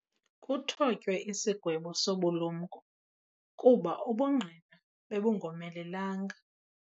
Kuthotywe isigwebo sobulumko kuba ubungqina bebungomelelanga.